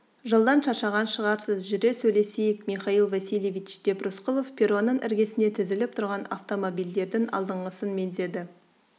жолдан шаршаған шығарсыз жүре сөйлесейік михаил васильевич деп рысқұлов перронның іргесінде тізіліп тұрған автомобильдердің алдыңғысын меңзеді